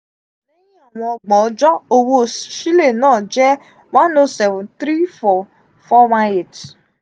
wọn gbon ọjọ owo sile naa jẹ one 0 seven three four four one eight